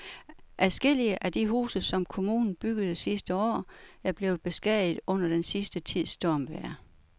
Adskillige af de huse, som kommunen byggede sidste år, er blevet beskadiget under den sidste tids stormvejr.